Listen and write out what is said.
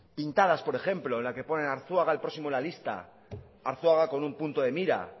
pintadas por ejemplo en la que pone arzuaga en el próximo en la lista arzuaga con un punto de mira